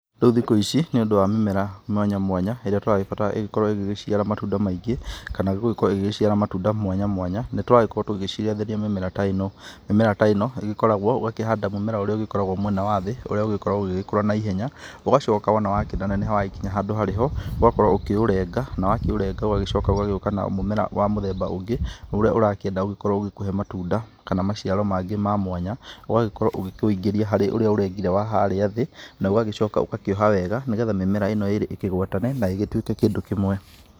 Rĩũ thikũ ici, nĩ ũndũ wa mĩmera mwanya mwanya ĩrĩa tũragĩbatara ĩkorwo ĩkĩciara matunda maingĩ, kana gũgĩkorwo ĩkĩciara matunda mwanya mwanya, nĩ tũragĩkorwo tũgĩciarithinai mĩmera ta ĩno , mĩmera ta ĩno ĩgĩkoragwo ũgakĩhanda mũmera ũrĩa ũgĩkoragwo mwena wa thĩ ũrĩa ũgĩkoragwo ũgĩkũra na ihenya , ũgacoka wona wakĩ neneha wagĩkinya handũ harĩ ho , ũgakorwo ũkĩũrenga na wakĩ ũrenga ũgagĩcoka ũgagĩũka na mũmera ũngĩ ũrĩa ũrakĩenda ũgĩkũhe matunda kana maciaro mangĩ ma mwanya, ũgagĩkorwo ũgĩ kĩwĩ ingiria harĩ ũrĩa ũrengire wa harĩa thĩ na ũgagĩkoka ũkoha wega mĩmera ĩno ĩrĩ ĩkĩ gwatane na ĩgĩtwĩke kĩndũ kĩmwe.